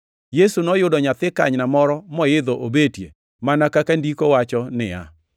Yesu noyudo nyathi kanyna moro moidho obetie, mana kaka Ndiko wacho niya,